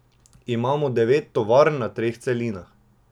Imamo devet tovarn na treh celinah.